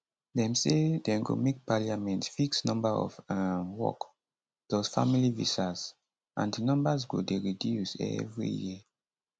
dem say dem go make parliament fix number of um work plus family visas and di numbers go dey reduce every year